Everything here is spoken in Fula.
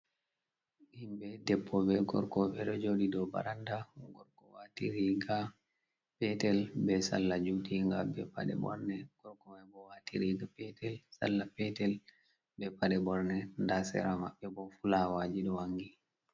himbe depbo be gorko ɓeɗo joɗi do baranda gorko watiriga petel be sala jutiga be paɗe borne, gorkoabo watiriga salla petel be paɗe borne nda sera mabbe bo fulawaji ɗo wangi.